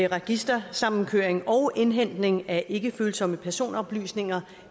registersamkøring og indhentning af ikkefølsomme personoplysninger